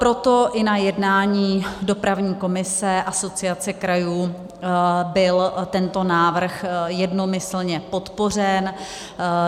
Proto i na jednání dopravní komise Asociace krajů byl tento návrh jednomyslně podpořen.